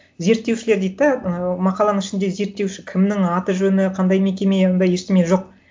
зерттеушілер дейді де ы мақаланың ішінде зерттеуші кімнің аты жөні қандай мекеме ондай ештеме жоқ